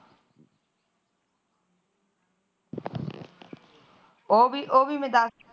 ਉਹ ਵੀ ਉਹ ਵੀ ਮੈ